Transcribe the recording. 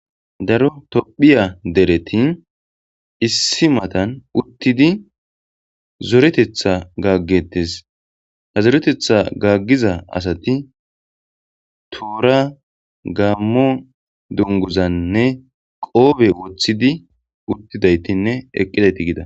Daro tophphiya dereti issi matan uttidi zoreteththa gaaggettes. Ha zoreteththa gaaggiza asati toora gaammo dunguzanne qoope woththidi uttidaytinne eqqidayti gida.